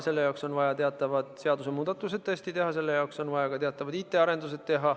Selle jaoks on tõesti vaja teha teatavad seadusemuudatused ja on vaja teha ka teatavad IT-arendused.